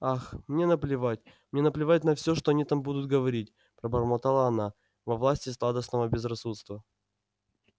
ах мне наплевать мне наплевать на всё что они там будут говорить пробормотала она во власти сладостного безрассудства